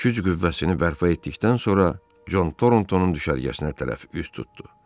Güc qüvvəsini bərpa etdikdən sonra Con Torntonun düşərgəsinə tərəf üz tutdu.